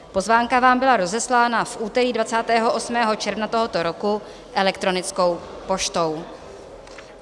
Pozvánka vám byla rozeslána v úterý 28. června tohoto roku elektronickou poštou.